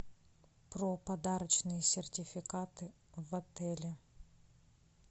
про подарочные сертификаты в отеле